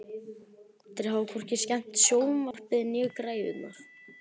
Þeir hafa hvorki skemmt sjónvarpið né græjurnar.